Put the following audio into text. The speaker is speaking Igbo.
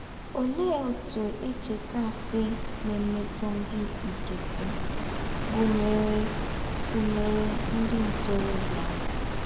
Ólẹ́ ǒtụ́ èchètà à sị̀ nà-èmètụ̀ ndí́ nkẹ́tị́, gụ̀nyèrè gụ̀nyèrè ndí́ ntórọ̀bíà?